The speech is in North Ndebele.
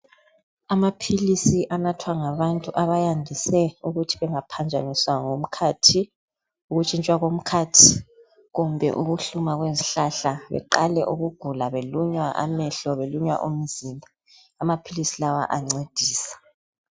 Amaphilisi nathwa ngabantu abayandise ukuthi bangaphanjaniswa ngumkhathi ukutshintsha komkhathi kumbe ukuhluma kwezihlahla beqale ukugula belunywa amehlo belunywa umzimba amaphilisi lawa ayanzedisa.